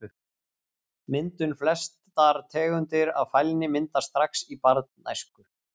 Myndun Flestar tegundir af fælni myndast strax í barnæsku.